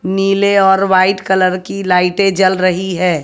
नीले और white colour की लाइटे जल रही है।